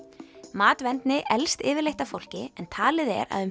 matvendni eldist yfirleitt af fólki en talið er að um